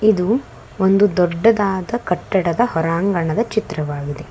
ಇದು ಒಂದು ದೊಡ್ಡದಾದ ಕಟ್ಟಡದ ಹೊರಾಂಗಣದ ಚಿತ್ರವಾಗಿದೆ.